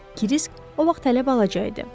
Krisk o vaxt hələ balaca idi.